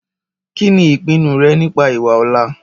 kíni ìpinu rẹ nípa ìwà ọ̀la?